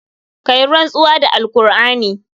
Ka yi rantsuwa da alqur'ani.